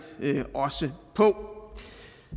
også på